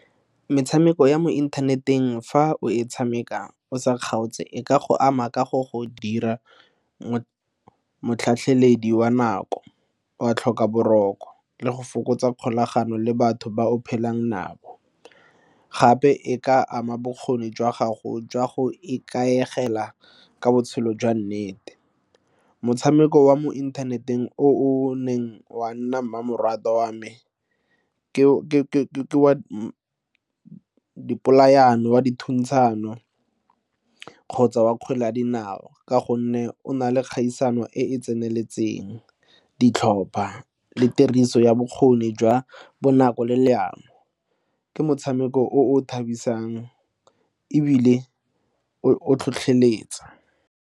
Metshameko ya mo inthaneteng fa o e tshameka o sa kgaotse e ka go ama ka go go dira nako wa tlhoka boroko le go fokotsa kgolagano le batho ba o phelang nabo. Gape e ka ama bokgoni jwa gago jwa go ikaegela ka botshelo jwa nnete, motshameko wa mo inthaneteng o o neng wa nna mmamoratwa wa me ke wa dipolaano, wa dithuntshano kgotsa wa kgwele ya dinao ka gonne o na le kgaisano e e tseneletseng, ditlhopha le tiriso ya bokgoni jwa bonako le leano ke motshameko o o thabisang ebile o tlhotlheletsa.